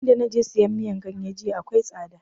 In da naje sayan miyan ganye jiya akwai tsada